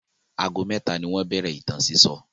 Ago mẹ́ta ni wọ́n bẹ̀rẹ̀ ìtàn sísọ.